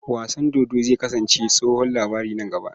Wasan dodo zai kasance tsohon labari nan gaba.